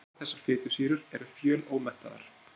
Báðar þessar fitusýrur eru fjölómettaðar.